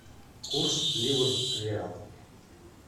курс ливр реал